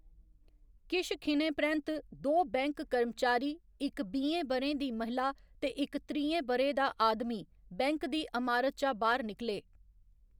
किश खिनें परैंत्त, दो बैंक कर्मचारी, इक बीहें ब'रें दी महिला ते इक त्रीहें ब'रें दा आदमी बैंक दी अमारत चा बाह्‌‌र निकले।